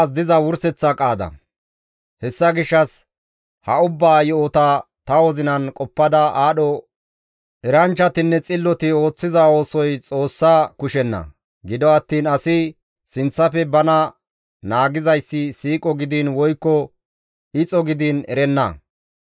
Hessa gishshas ha ubbaa yo7ota ta wozinan qoppada aadho eranchchatinne xilloti ooththiza oosoy Xoossa kushenna; gido attiin asi sinththafe bana naagizayssi siiqo gidiin woykko ixo gidiin erenna.